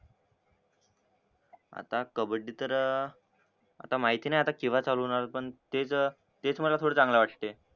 आता कबड्डी तर अं आता माहिती नाय आता केव्हा चालू होणार पण तेच अं तेच मला थोडे चांगले वाटतेय